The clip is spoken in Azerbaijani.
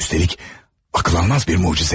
Üstəlik ağlanmaz bir möcüzə.